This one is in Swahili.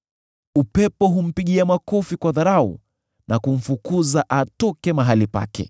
Upepo humpigia makofi kwa dharau, na kumfukuza atoke mahali pake.